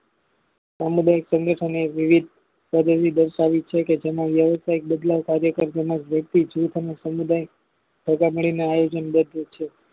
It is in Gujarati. સામુદાયિક સ્નગઠન એ એક વિવિધ પદ્ધતિ દર્શાવી છેકે જેમાં વ્યવસાઇક બદલાવ સાથે વૃદ્ધિ જીવ સામે સમુદાય ભેગા મળીને આયોજન ગોઠવે છે.